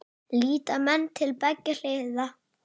Líta menn til beggja hliða?